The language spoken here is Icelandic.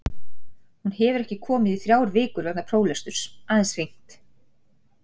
Hún hefur ekki komið í þrjár vikur vegna próflesturs, aðeins hringt.